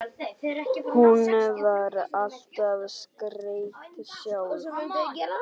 Hún var alltaf skreytt sjálf.